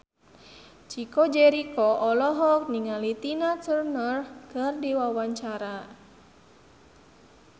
Chico Jericho olohok ningali Tina Turner keur diwawancara